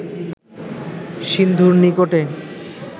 সিন্ধুর নিকটে